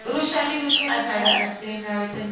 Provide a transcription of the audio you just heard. Vrushali Vrushali madam येत ते नाव आहे त्यांचं